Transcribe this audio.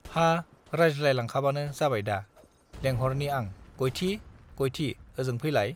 हा रायज्लाय लांखाबानो जाबायददा लेंहरनि आं गयथि गयथि ओजों फैलाय